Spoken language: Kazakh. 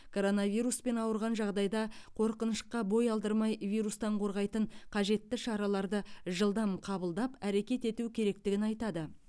коронавируспен ауырған жағдайда қорқынышқа бой алдырмай вирустан қорғайтын қажетті шараларды жылдам қабылдап әрекет ету керектігін айтады